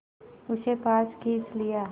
उसे पास खींच लिया